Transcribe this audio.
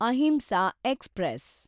Ahimsa express